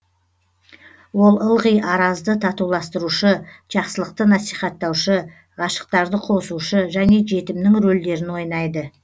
ол ылғи аразды татуластырушы жақсылықты насихаттаушы ғашықтарды қосушы және жетімнің рольдерін ойнайды